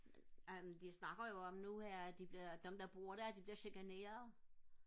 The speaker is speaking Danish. øhm de snakker jo om nu her at de bliver dem der bor der de bliver chikaneret